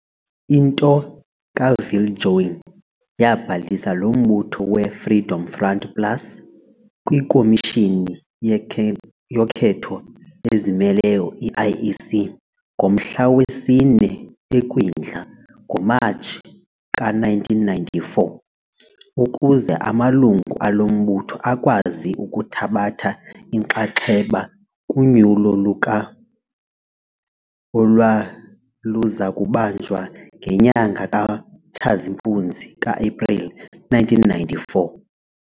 Into kaViljoen yaabhalisa lo mbutho we-Freedom Front Plus kwikomishini yokhetho ezimeleyo, I-IEC, ngomhla wesi-4 eKwindla, NgoMatshi, ka-1994, ukuze amalungu alo mbutho akwazi ukuthabatha inxaxheba kunyulo luka olwaluzakubanjwa ngenyanga kaTshazimpuzi, kaApreli, ka-1994.